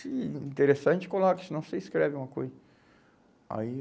Se interessar, a gente coloca, senão você escreve uma coisa. Aí